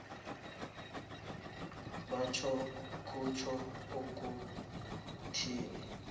bona kutjho ukuthini